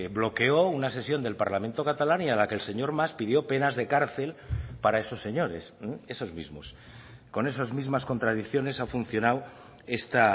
bloqueó una sesión del parlamento catalán y a la que el señor mas pidió penas de cárcel para esos señores esos mismos con esas mismas contradicciones ha funcionado esta